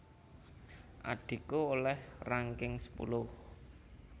Adhiku oleh ranking sepuluh